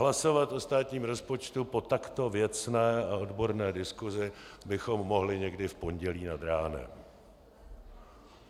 Hlasovat o státním rozpočtu po takto věcné a odborné diskusi bychom mohli někdy v pondělí nad ránem.